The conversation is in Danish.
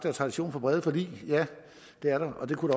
er tradition for brede forlig ja det er der og det kunne